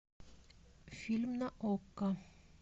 фильм на окко